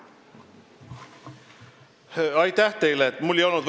Aitäh teile!